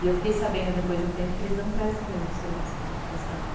E eu fiquei sabendo depois de um tempo que eles não prestam o mesmo serviço que a gente prestava.